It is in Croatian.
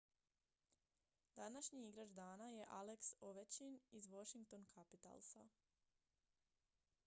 današnji igrač dana je alex ovechkin iz washington capitalsa